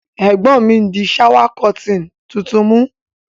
Ègbón mi n dí shower curtain tuntun mú